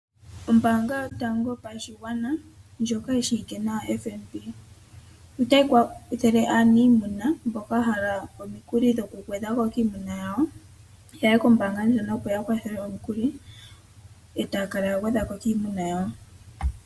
Ombaanga yotango yopashigwana, ndjoka yishiiwike nawa nedhina FNB, otayi kwathele aanimuna, mboka yahala omikuli dhoku gwedhako kiimuna yawo, yaye kombaanga ndjono opo ya kwathelwe omikuli, e taya kala ya gwedhako kiimuna yawo.